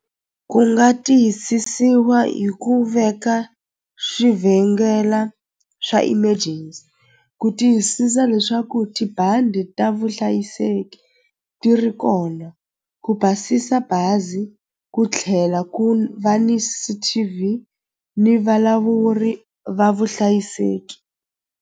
Ku nga tiyisisiwa hi ku veka swivhengela swa emergency ku tiyisisa leswaku tibandi ta vuhlayiseki ti ri kona ku basisa bazi ku tlhela ku va ni T_V ni valavuri va vuhlayiseki.